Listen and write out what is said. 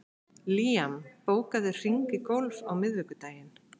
Liam, bókaðu hring í golf á miðvikudaginn.